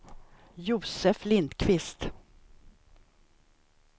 Josef Lindquist